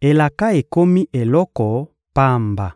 elaka ekomi eloko pamba.»